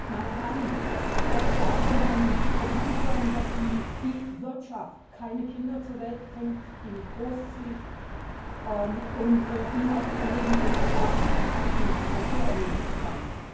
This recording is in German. Meine Herren, es sollte ja allgemein bekannt sein, dass die Wirtschaft keine Kinder zur Welt bringt, sie nicht großzieht und ihnen auch kein Leben in einer intakten Natur ermöglichen kann.